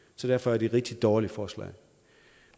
så derfor er det et rigtig dårligt forslag